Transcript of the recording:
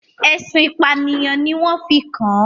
ẹ̀sùn ìpànìyàn ni wọ́n fi kàn án.